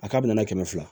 A k'a bɛ na kɛmɛ fila